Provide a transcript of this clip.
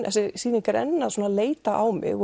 þessi sýning er enn svona að leita á mig